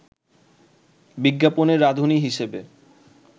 বিজ্ঞাপনে রাঁধুনী হিসেবে